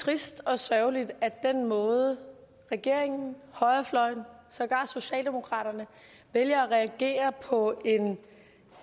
trist og sørgeligt at den måde regeringen og højrefløjen og sågar socialdemokraterne vælger at reagere på en